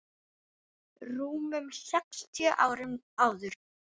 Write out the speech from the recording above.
rúmum sextíu árum áður.